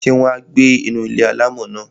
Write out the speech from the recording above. Ṣé wọn á gbé inú ilé-alámọ̀ náà?